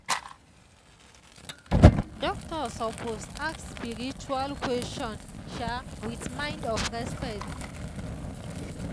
doctor suppose ask spiritual question um with mind of respect.